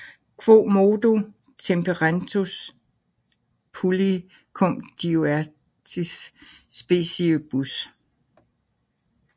Quomodo temperentur pulli cum diuersis speciebus